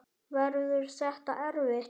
Verður þetta erfitt?